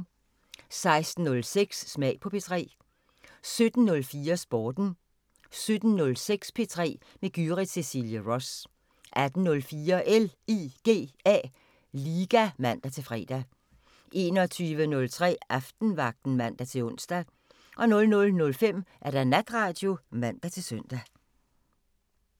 16:06: Smag på P3 17:04: Sporten 17:06: P3 med Gyrith Cecilie Ross 18:04: LIGA (man-fre) 21:03: Aftenvagten (man-ons) 00:05: Natradio (man-søn)